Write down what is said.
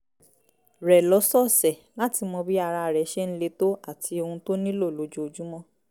rẹ̀ lọ́sọ̀ọ̀sẹ̀ láti mọ bí ara rẹ̀ ṣe ń le tó àti ohun tó nílò lójoojúmọ́